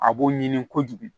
A b'o ɲini kojugu